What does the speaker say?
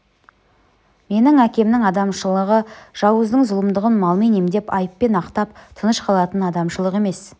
менің әкемнің адамшылығы жауыздың зұлымдығын малмен емдеп айыппен ақтап тыныш қалатын адамшылық емес